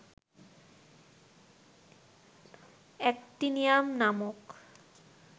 actinium নামক